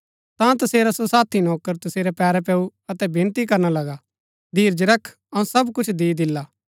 ता तसेरा सो साथी नौकर तसेरै पैरै पैऊँ अतै विनती करना लगा धीरज कर अऊँ सब कुछ दी दिला